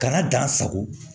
Kana gan sago